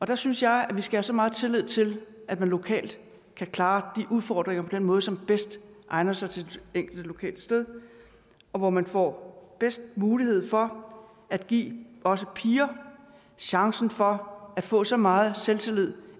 der synes jeg at vi skal have så meget tillid til at man lokalt kan klare de udfordringer på den måde som bedst egner sig til det enkelte lokale sted og hvor man får bedst mulighed for at give også piger chancen for at få så meget selvtillid